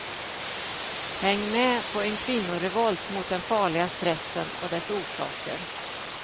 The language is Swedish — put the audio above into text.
Häng med på en kvinnorevolt mot den farliga stressen och dess orsaker.